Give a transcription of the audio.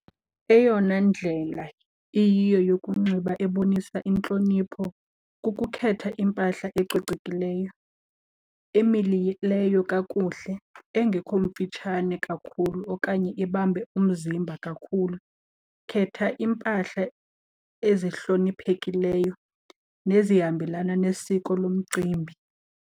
Eyona ndlela iyiyo yokunxiba ebonisa intlonipho kukukhetha impahla ecocekileyo, emilileyo kakuhle, engekho mfitshane kakhulu okanye ibambe umzimba kakhulu. Khetha iimpahla ezihloniphekileyo nezihambelana nesiko lomcimbi.